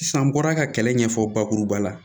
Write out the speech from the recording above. Sisan n bɔra ka kɛlɛ ɲɛfɔ bakuruba la